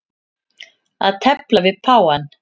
Að tefla við páfann